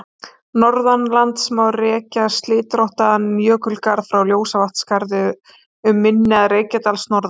Norðanlands má rekja slitróttan jökulgarð frá Ljósavatnsskarði, um mynni Reykjadals, norðan